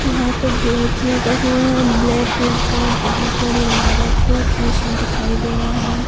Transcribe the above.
यहां पे गेट लगा हुआ है ब्लैक कलर का और बहोत बड़ी इमारत ऐसा दिखाई दे रहा है।